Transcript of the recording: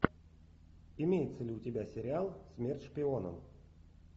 имеется ли у тебя сериал смерть шпионам